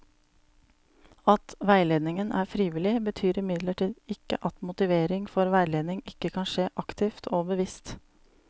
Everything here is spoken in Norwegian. At veiledningen er frivillig, betyr imidlertid ikke at motivering for veiledning ikke kan skje aktivt og bevisst.